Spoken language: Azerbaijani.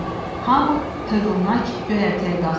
Hamı hövlnak göyərtəyə qalxdı.